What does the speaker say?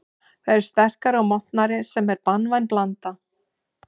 Þeir eru sterkari og montnari sem er banvæn blanda.